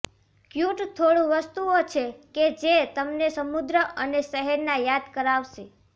cute થોડું વસ્તુઓ છે કે જે તમે સમુદ્ર અને શહેરના યાદ કરાવશે